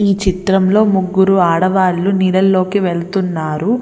ఈ చిత్రంలో ముగ్గురు ఆడవాళ్లు నీడలోకి వెళ్తున్నారు.